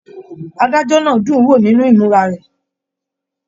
Adájọ náà dún wo nínú imura rẹ.